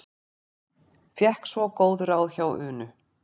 Fékk svo góð ráð hjá Unu.